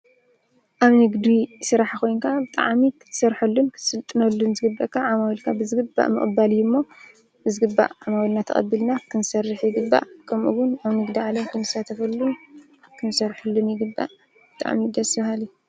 ኣብ ንግዲ ስራሕ ኮይንካ ብጣዕሚ ክትሰርሓሉን ክትስልጥነሉን ዝግብአካ ዓመዊልካ ብዝግባእ ምቕባል እዩ እሞ ብዝግባእ ዓማዊልና ተቐቢልና ክንሰርሕ ይግባእ፡፡ ከምኡውን ኣብ ንግዲ ዓለም ክንሰርሐሉን ክንሳተፈሉን ይግባእ፡፡ ብጣዕሚ ደስ በሃሊ፡፡